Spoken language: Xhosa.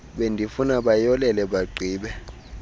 bendifuna bayolele bagqibe